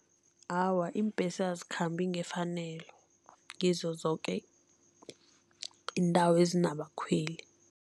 Awa, iimbhesi azikhambi ngefanelo kizo zoke iindawo ezinabakhweli.